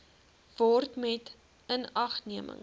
word met inagneming